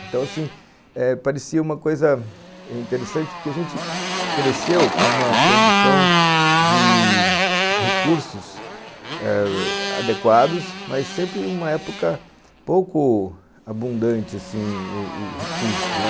Então, assim, parecia uma coisa interessante, porque a gente cresceu com uma condição de recursos adequados eh, mas sempre em uma época pouco abundante, assim, o recurso, né